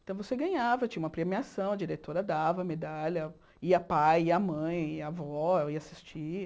Então você ganhava, tinha uma premiação, a diretora dava a medalha, ia pai, ia mãe, ia avó, ia assistir.